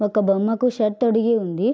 ఒక బొమ్మ కు షర్ట్ తొడిగి ఉంది.